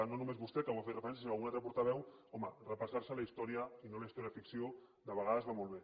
i no només vostè que hi ha fet referència sinó algun altre portaveu home repassar se la història i no la història ficció de vegades va molt bé